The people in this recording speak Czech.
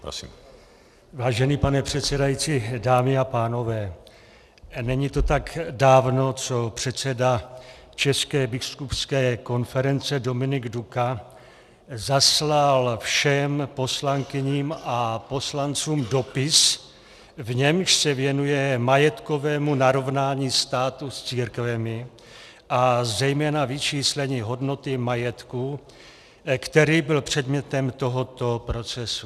Vážený pane předsedající, dámy a pánové, není to tak dávno, co předseda České biskupské konference Dominik Duka zaslal všem poslankyním a poslancům dopis, v němž se věnuje majetkovému narovnání státu s církvemi a zejména vyčíslení hodnoty majetku, který byl předmětem tohoto procesu.